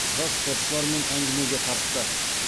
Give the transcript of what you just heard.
жас спортшылармен әңгімеге тартты